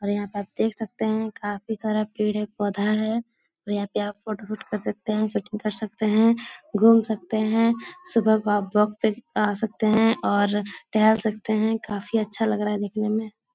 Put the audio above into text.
और यहाँ पे आप देख सकते है काफ़ी सारा पेड़ है पौधा है और यहाँ पे आप फोटो शूट कर सकते है शूटिंग कर सकते है घूम सकते है सुबह को आप वॉक पे आ सकते है और टहल सकते है काफ़ी अच्छा लग रहा है देखने में।